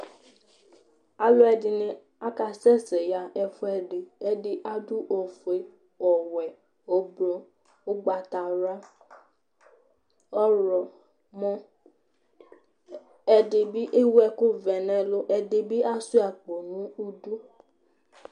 Alʋɛdɩnɩ akasɛsɛ yaɣa ɛfʋɛdɩ Ɛdɩ adʋ ofue, ɔwɛ, ʋblʋ, ʋgbatawla, ɔɣlɔmɔ Ɛdɩ bɩ ewu ɛkʋvɛ nʋ ɛlʋ, ɛdɩ bɩ asʋɩa akpo nʋ idu